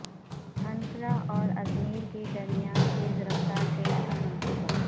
Ankara اور Izmir کے درمیان تیز رفتار ٹرین کا منصوبہ